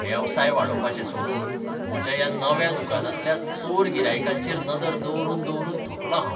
वेवसाय वाडोवपाचें सोडून म्हज्या ह्या नव्या दुकानांतल्या चोर गिरायकांचेर नदर दवरून दवरून थकलों हांव.